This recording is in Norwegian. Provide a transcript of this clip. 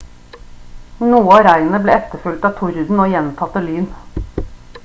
noe av regnet ble etterfulgt av torden og gjentatte lyn